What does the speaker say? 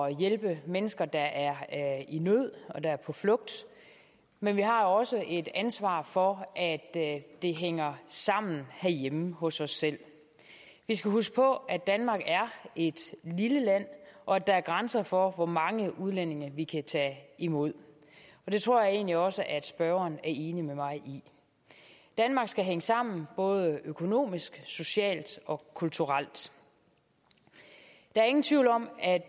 at hjælpe mennesker der er i nød og er på flugt men vi har også et ansvar for at det hænger sammen herhjemme hos os selv vi skal huske på at danmark er et lille land og at der er grænser for hvor mange udlændinge vi kan tage imod og det tror jeg egentlig også at spørgeren er enig med mig i danmark skal hænge sammen både økonomisk socialt og kulturelt der er ingen tvivl om at